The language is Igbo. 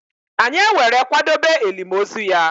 Anyi ewere kwadobe elim ozu ya.